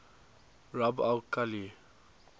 rub al khali